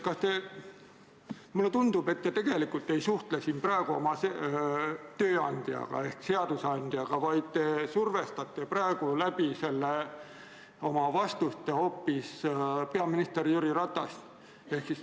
Mulle tundub, et te tegelikult ei suhtle siin praegu oma tööandja ehk seadusandjaga, vaid te survestate oma vastustega hoopis peaminister Jüri Ratast.